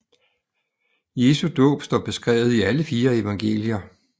Jesu dåb står beskrevet i alle fire evangelier